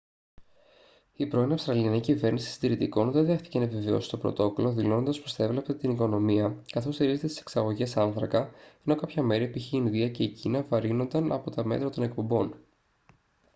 η πρώην αυστραλιανή κυβέρνηση συντηρητικών δεν δέχτηκε να επιβεβαιώσει το πρωτόκολλο δηλώνοντας πως θα έβλαπτε την οικονομία καθώς στηρίζεται στις εξαγωγές άνθρακα ενώ κάποια μέρη π.χ. η ινδία και η κίνα βαρύνονταν από τα μέτρα των εκπομπών